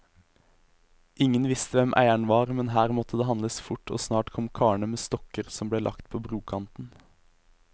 Ingen visste hvem eieren var, men her måtte det handles fort, og snart kom karene med stokker som ble lagt på brokanten.